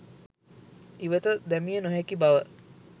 ඉවත දැමිය නොහැකි බව